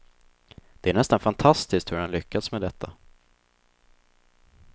Det är nästan fantastiskt hur han lyckats med detta.